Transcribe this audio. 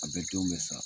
A bɛ denw bɛ sa